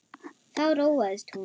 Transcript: Þá róaðist hún.